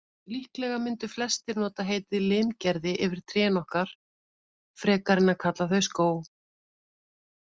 Líklega mundu flestir nota heitið limgerði yfir trén okkar, frekar en að kalla þau skóg.